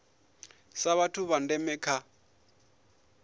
sa vhathu vha ndeme kha